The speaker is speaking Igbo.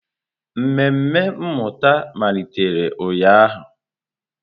Mmemme mmụta malitere ụnyahụ.